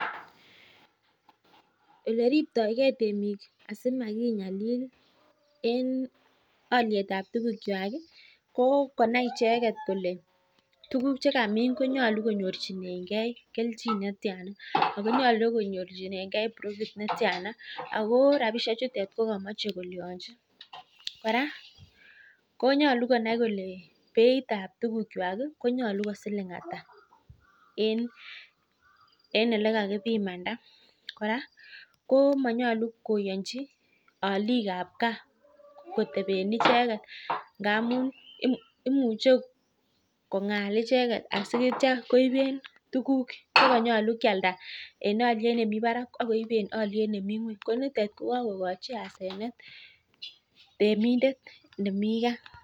Oleribtakei temik simakingalil ko konai icheket kolee tuguk chekamin konyaljin konyorchike keljin netyaa nyaluu konai kolee beit ab tuguk kwak kwataa